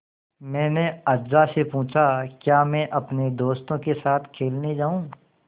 मैंने अज्जा से पूछा क्या मैं अपने दोस्तों के साथ खेलने जाऊँ